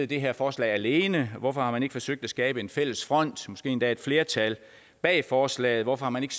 det her forslag alene hvorfor man ikke har forsøgt at skabe en fælles front måske endda et flertal bag forslaget hvorfor man ikke